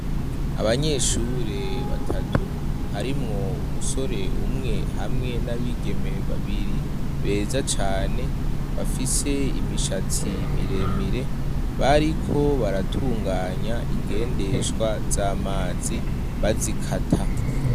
Abanyeshure batatu harimwo umusore umwe hamwe n'abigemeye babiri beza cane bafise imishatsi miremire bariko baratunganya ingendeshwa z'amazi bazikata.